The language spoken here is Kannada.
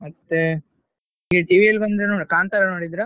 ಮತ್ತೆ TV ಯಲ್ಲಿ ಕಾಂತಾರ ನೋಡಿದ್ರಾ?